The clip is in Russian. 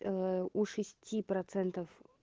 у шести процентов